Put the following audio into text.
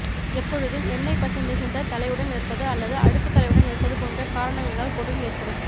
எப்பொழுதும் எண்ணெய் பசை மிகுந்த தலையுடன் இருப்பது அல்லது அழுக்கு தலையுடன் இருப்பது போன்ற காரணங்களினால் பொடுகு ஏற்படும்